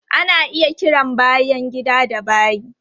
Ana iya kiran bayan gida da bayi.